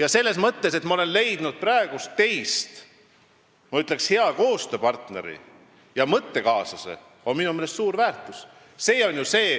Aga see, et ma olen teis leidnud hea koostööpartneri ja mõttekaaslase, on suur väärtus.